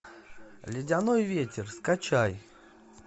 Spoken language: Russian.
ледяной ветер скачай